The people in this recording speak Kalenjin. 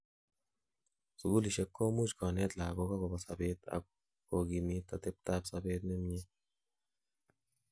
sugulisiek komuch koneet lagok agobo sobet, ak kogimit atebtab sobet nemie